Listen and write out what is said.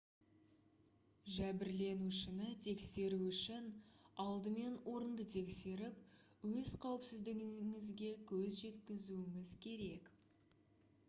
жәбірленушіні тексеру үшін алдымен орынды тексеріп өз қауіпсіздігіңізге көз жеткізуіңіз керек